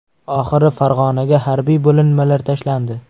Oxiri Farg‘onaga harbiy bo‘linmalar tashlandi.